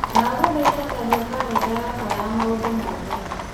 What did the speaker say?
ndagũthaitha tharia karenda yakwa ya maũndũ mothe